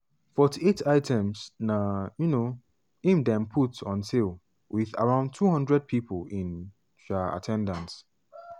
forty eight items na um im dem put on sale with around 200 people in um at ten dance.